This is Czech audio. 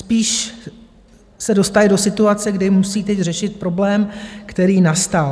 Spíš se dostali do situace, kdy musí teď řešit problém, který nastal.